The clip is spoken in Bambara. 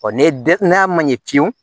ne den n'a ma ɲɛ ki